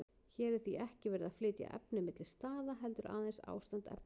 Hér er því ekki verið að flytja efni milli staða, heldur aðeins ástand efnis.